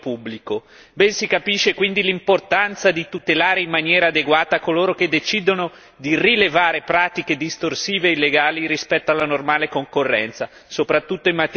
Ben si capisce quindi l'importanza di tutelare in maniera adeguata coloro che decidono di rivelare pratiche distorsive e illegali rispetto alla normale concorrenza, soprattutto in materia fiscale.